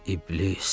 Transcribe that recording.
İblis!